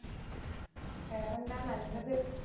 വേറേ എന്താ നല്ലത്